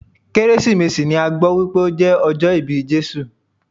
Kérésìmesì ni a gbọ́ wípé o jẹ́ ọjọ́ ìbí Jésù.